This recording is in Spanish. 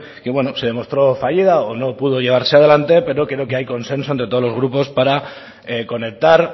que bueno se demostró fallida o no pudo llevarse adelante pero creo que hay consenso entre todos los grupos para conectar